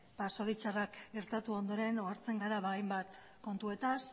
zoritxarrak gertatu ondoren ohartzen gara hainbat kontuetaz